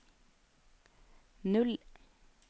null